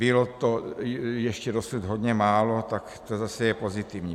Bylo to ještě dosud hodně málo, tak to zase je pozitivní.